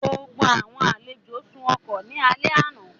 Gbogbo àwọn àlejò sùn ọkọ̀ ní alẹ́ àná